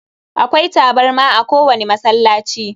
Akwai tabarma a ko wani masallaci.